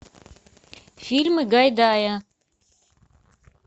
фильмы гайдая